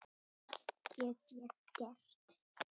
Það get ég gert.